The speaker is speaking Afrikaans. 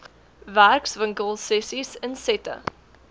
werkswinkel sessies insette